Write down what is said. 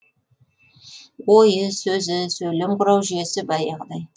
ойы сөзі сөйлем құрау жүйесі баяғыдай